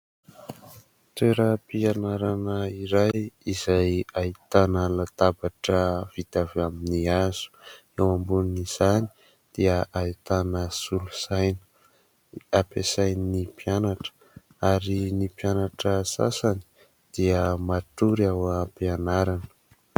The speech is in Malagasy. Toeram-pianarana iray izay ahitana latabatra vita avy amin'ny hazo. Eo ambonin'izany dia ahitana solosaina ampiasain'ny mpianatra, ary ny mpianatra sasany dia matory ao ampianarana.